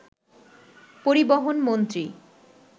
পরিবহন মন্ত্রী